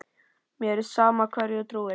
Mér er sama hverju þú trúir.